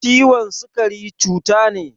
Ciwon sukari cuta ne